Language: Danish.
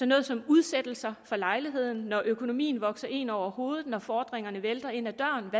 noget som udsættelse fra lejligheden hvor økonomien vokser en over hovedet og fordringerne vælter ind ad